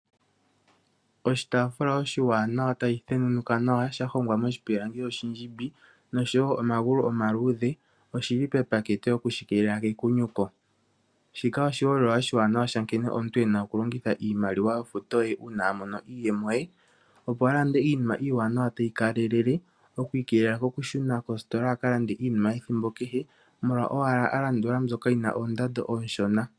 Oshitaafula oshiwanawa tashi thenunuka nawa shahongwa moshipilangi oshindjimbi, noshina omagulu omaluudhe noshili pepateke okushi keelela kekunyuko. Shika oshiholelwa oshiwanawa sha nkene omuntu ena okulongitha iimaliwa yo futo ye uuna amono iiyemo ye opo alande iinima iiwanawa tayi kalelele okwii kelela okushuna kostola molwa owala alandula mbyoka yina oondando ooshona.